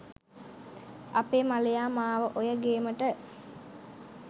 අපේ මලයා මාව ඔය ගේමට